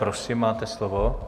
Prosím, máte slovo.